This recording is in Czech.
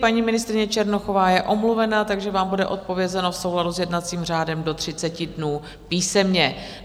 Paní ministryně Černochová je omluvena, takže vám bude odpovězeno v souladu s jednacím řádem do 30 dnů písemně.